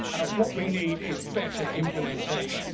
What we need is better implementation.